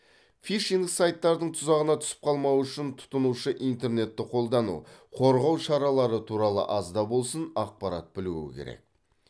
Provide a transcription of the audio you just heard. фишинг сайттардың тұзағына түсіп қалмау үшін тұтынушы интернетті қолдану қорғау шаралары туралы аз да болсын ақпарат білуі керек